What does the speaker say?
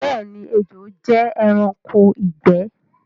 Bẹẹni, ẹjò jẹ ẹranko igbẹ̀